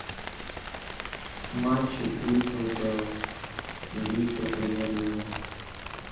матчи кристал пэлас английская премьер лига